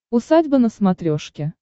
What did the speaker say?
усадьба на смотрешке